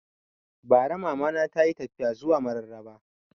Bara Mama na tayi tafiya zuwa Mararaba